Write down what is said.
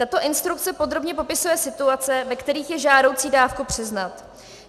Tato instrukce podrobně popisuje situace, ve kterých je žádoucí dávku přiznat.